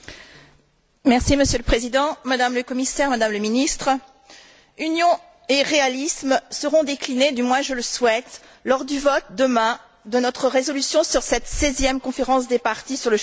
Monsieur le Président, Madame le Commissaire, Madame le Ministre, union et réalisme seront déclinés, du moins je le souhaite, demain lors du vote de notre résolution sur cette seizième conférence des parties sur le changement climatique.